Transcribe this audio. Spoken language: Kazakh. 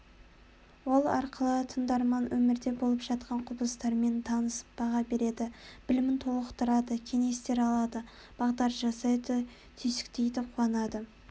ол арқылы тыңдарман өмірде болып жатқан құбылыстармен танысып баға береді білімін толықтырады кеңестер алады бағдар жасайды түйсіктейді қуанады